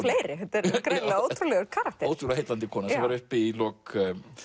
fleiri þetta er greinilega ótrúlegur karakter ótrúlega heillandi kona sem var uppi í lok